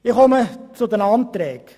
Ich komme zu den Anträgen.